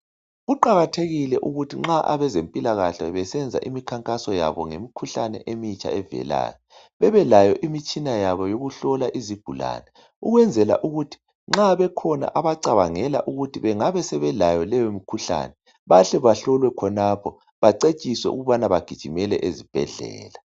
kuqakathekile ukuthi nxa abezempilakahle besenza imikhankaso yabo ngemikhuhlane emitsha evelayo bebelayo imitshina yabo yokuhlola izigulane ukwenzela ukuthi nxa bekhona abacabangela ukuthi bengaba sebelayo leyo mikhuhlane bahle bahlolwe khonapho bacwetshiswe ukubana bagijimele ezibhedlela